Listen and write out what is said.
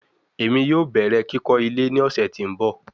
Emi yoo bẹrẹ kikọ ile ni ọsẹ ti n bọ